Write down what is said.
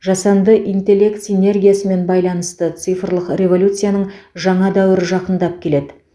жасанды интеллект синергиясымен байланысты цифрлық революцияның жаңа дәуірі жақындап келеді